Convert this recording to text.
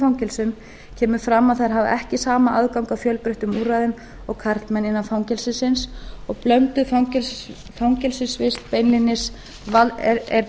blönduðum fangelsum kemur fram að þær hafa ekki sama aðgang að fjölbreyttum úrræðum og karlmenn innan fangelsisins og blönduð fangelsisvist er